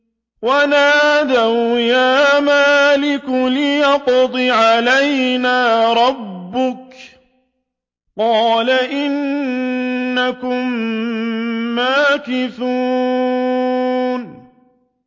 وَنَادَوْا يَا مَالِكُ لِيَقْضِ عَلَيْنَا رَبُّكَ ۖ قَالَ إِنَّكُم مَّاكِثُونَ